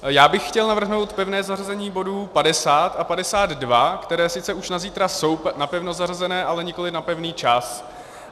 Já bych chtěl navrhnout pevné zařazení bodů 50 a 52, které sice už na zítra jsou napevno zařazené, ale nikoliv na pevný čas.